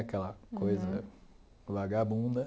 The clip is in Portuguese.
Aquela coisa vagabunda.